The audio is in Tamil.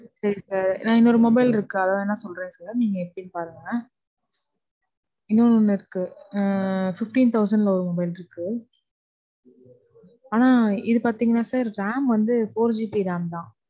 செரி sir. நான் இன்னொரு mobile இருக்கு. அது வேணா சொல்றேன் sir. நீங்க எப்படின்னு பாருங்க. உம் இருக்கு. உம் Fifteen thousand ல ஒரு mobile இருக்கு. ஆனா இது பாத்தீங்கனா sir, ram வந்து four GB ram தான்